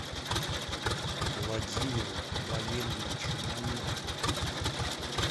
владимиру валерьевичу мамедову